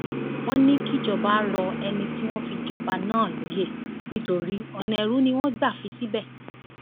wọn ní kíjọba rọ ẹni tí wọn fi jọba náà lóyè nítorí ọnà èrú ni wọn gbà fi í síbẹ